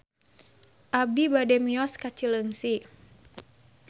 Abi bade mios ka Cileungsi